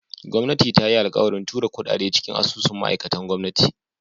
Gwamnati ta yi alkawarin tura kudade cikin asusun ma'aikatan gwamnati.